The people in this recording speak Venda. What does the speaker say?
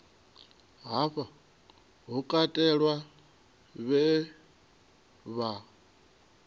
hafha hu katelwa vhe vha